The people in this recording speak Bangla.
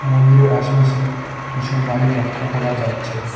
মন্দিরের আশপাশে কিসু বাড়ি লক্ষ করা যাচ্ছে।